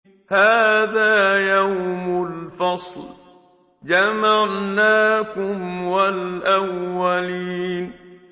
هَٰذَا يَوْمُ الْفَصْلِ ۖ جَمَعْنَاكُمْ وَالْأَوَّلِينَ